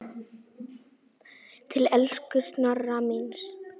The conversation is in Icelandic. Til elsku Snorra míns.